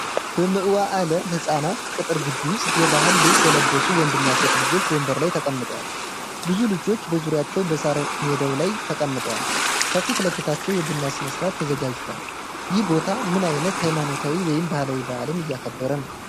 በመዋዕለ ሕፃናት ቅጥር ግቢ ውስጥ፣ የባህል ልብስ የለበሱ ወንድና ሴት ልጆች ወንበር ላይ ተቀምጠዋል። ብዙ ልጆች በዙሪያቸው በሣር ሜዳው ላይ ተቀምጠዋል፣ ከፊት ለፊታቸው የቡና ሥነ-ሥርዓት ተዘጋጅቷል። ይህ ቦታ ምን ዓይነት ሃይማኖታዊ ወይም ባህላዊ በዓል እያከበረ ነው?